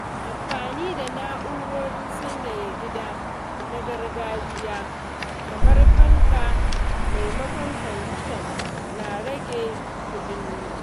Amfani da na’urorin sanyaya gida na gargajiya kamar fanka maimakon kwandishan na rage kuɗin wuta.